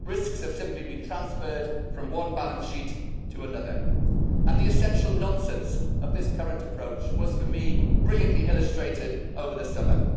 Risks have simply been transferred from one balance sheet to another. The essential nonsense of this current approach was for me brilliantly illustrated over the summer.